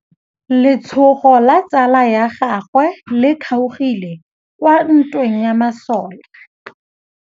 Letsôgô la tsala ya gagwe le kgaogile kwa ntweng ya masole.